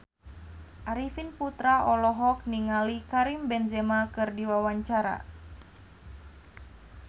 Arifin Putra olohok ningali Karim Benzema keur diwawancara